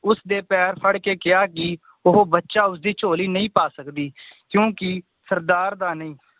ਉਸਦੇ ਪੈਰ ਫੜ ਕੇ ਕਿਹਾ ਕਿ ਉਹ ਬੱਚਾ ਉਸਦੀ ਝੋਲੀ ਨਹੀ ਪਾ ਸਕਦੀ ਕਿਉਂਕੀ ਸਰਦਾਰ ਦਾ ਨਈ